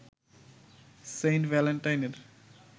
Saint ভ্যালেন্টাইনের